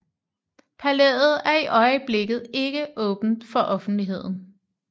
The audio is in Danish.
Palæet er i øjeblikket ikke åbent for offentligheden